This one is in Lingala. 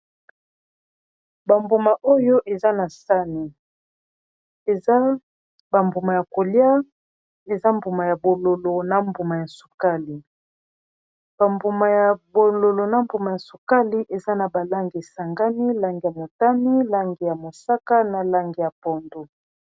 Ba mbuma oyo eza na sani, eza ba mbuma ya kolia eza mbuma ya bololo na mbuma ya sukali ba mbuma ya bololo na mbuma ya sukali eza na ba langi esangani langi ya motani, langi ya mosaka, na langi ya pondu.